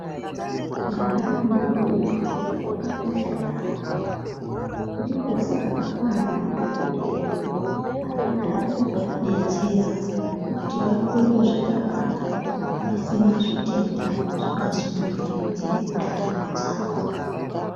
Mwana mudodori wakakosha yaambo ndiko saka kwane madhokodheya akagarira kuvadetsera kuti vakure zvakanaka vasina zvitenda zvingazobingaidze ndaramo dzavo.